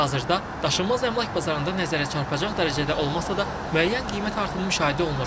Hazırda daşınmaz əmlak bazarında nəzərə çarpacaq dərəcədə olmasa da, müəyyən qiymət artımı müşahidə olunur.